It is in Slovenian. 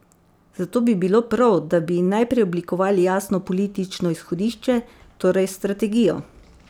Zato bi bilo prav, da bi najprej oblikovali jasno politično izhodišče, torej strategijo.